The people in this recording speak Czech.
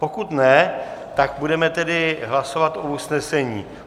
Pokud ne, tak budeme tedy hlasovat o usnesení.